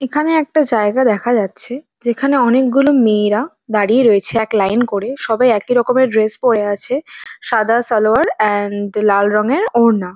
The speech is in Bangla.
এখানে একটা জায়গা দেখা যাচ্ছে। যেখানে অনেকগুলো মেয়েরা দাঁড়িয়ে রয়েছে এক লাইন করে। সবাই একই রকমের ড্রেস পরে আছে । সাদা শালওয়ার অ্যান্ড লাল রঙের ওড়না।